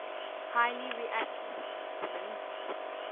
highly reactive hydrogen